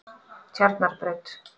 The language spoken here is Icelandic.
Tjarnarbraut